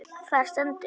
Þar stendur: